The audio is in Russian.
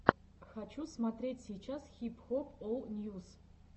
хочу смотреть сейчас хип хоп ол ньюс